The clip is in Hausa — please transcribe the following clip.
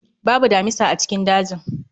Babu damisa a cikin dajin